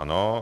Ano.